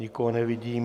Nikoho nevidím.